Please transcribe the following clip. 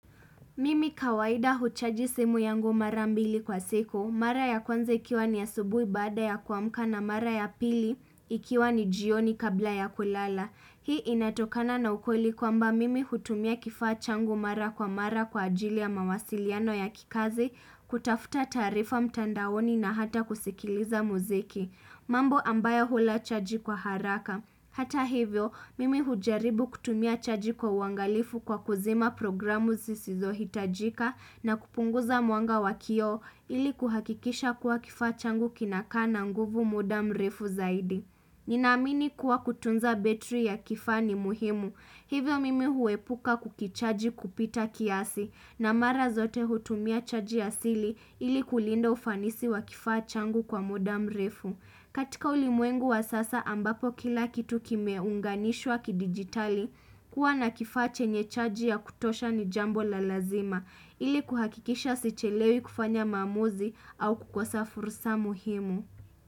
Mimi kawaida huchaji semu yangu mara mbili kwa siku. Mara ya kwanza ikiwa ni asubui baada ya kuamka na mara ya pili ikiwa ni jioni kabla ya kulala. Hii inatokana na ukweli kwamba mimi hutumia kifaa changu mara kwa mara kwa ajili ya mawasiliano ya kikazi, kutafuta taarifa mtandaoni na hata kusikiliza muziki. Mambo ambayo hula chaji kwa haraka. Hata hivyo, mimi hujaribu kutumia chaji kwa uangalifu kwa kuzima programu zisizo hitajika na kupunguza mwanga wa kioo ili kuhakikisha kuwa kifaa changu kinaka na nguvu muda mrefu zaidi. Nina amini kuwa kutunza betri ya kifaa ni muhimu. Hivyo mimi huepuka kukichaji kupita kiasi na mara zote hutumia chaji asili ili kulinda ufanisi wa kifaa changu kwa muda mrefu. Katika ulimwengu wa sasa ambapo kila kitu kimeunganishwa kidigitali kuwa na kifaa chenye chaji ya kutosha ni jambo la lazima ili kuhakikisha sichelewi kufanya maamuzi au kukosafursa muhimu.